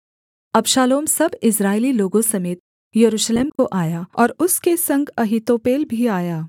अबशालोम सब इस्राएली लोगों समेत यरूशलेम को आया और उसके संग अहीतोपेल भी आया